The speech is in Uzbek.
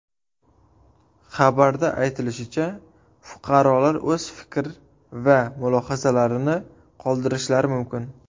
Xabarda aytilishicha, fuqarolar o‘z fikr va mulohazalarini qoldirishlari mumkin.